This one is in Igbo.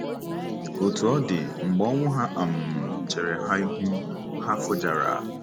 Otú ọ dị, mgbe ọnwụ ha um chere ha ihu, ha kụjara.